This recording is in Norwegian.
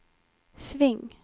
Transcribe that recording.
sving